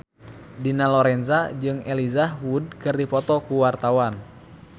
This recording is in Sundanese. Dina Lorenza jeung Elijah Wood keur dipoto ku wartawan